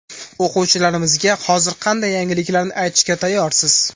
O‘quvchilarimizga hozir qanday yangiliklarni aytishga tayyorsiz?